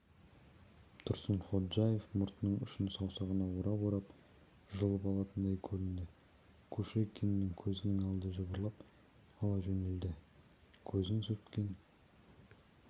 тұрсынходжаев мұртының ұшын саусағына орап-орап жұлып алатындай көрінді кушекиннің көзінің алды жыбырлап ала жөнелді көзін сүрткен